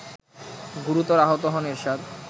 গুরুতর আহত হন এরশাদ